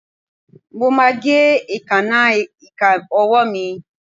Mo máa gé èékánná ìka ọwọ́ mi.